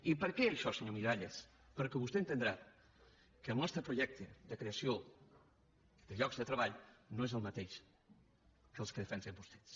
i per què això senyor miralles perquè vostè entendrà que el nostre projecte de creació de llocs de treball no és el mateix que el que defensen vostès